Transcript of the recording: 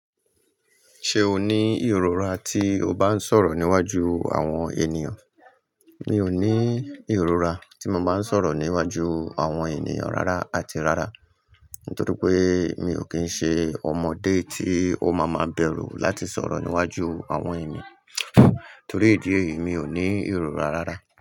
Ṣé o ní ìrora tí o bá ń sọ̀rọ̀ níwájú àwọn ènìyàn? Mi ò ní ìrora tí mo bá ń sọ̀rọ̀ níwájú àwọn ènìyàn rárá àti rárá, nítorí pé mi ò kí ń ṣe ọmọdé tí ó máa máa bẹ̀rù láti sọ̀rọ̀ níwájú àwọn ènìyàn. Torí idi eyìí mi ò ní ìrora rárá.